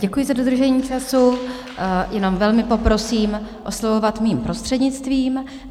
Děkuji za dodržení času, jenom velmi poprosím oslovovat mým prostřednictvím.